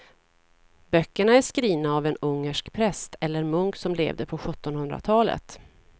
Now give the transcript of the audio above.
Böckerna är skrivna av en ungersk präst eller munk som levde på sjuttonhundratalet.